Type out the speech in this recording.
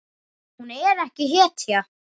Hún er ekki hetja.